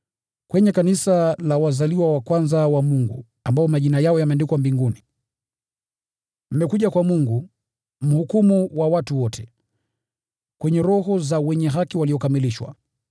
kwenye kanisa la wazaliwa wa kwanza wa Mungu, ambao majina yao yameandikwa mbinguni. Mmekuja kwa Mungu, mhukumu wa watu wote, kwenye roho za wenye haki waliokamilishwa,